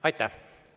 Aitäh!